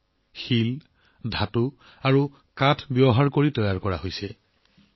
এইবোৰ terracotta stone ধাতু আৰু কাঠ ব্যৱহাৰ কৰি তৈয়াৰ কৰা হয়